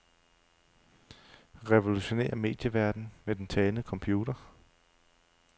Revolutionér medieverdenen med den talende computer.